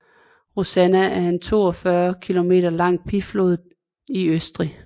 Rosanna er en 42 km lang bjergflod i Østrig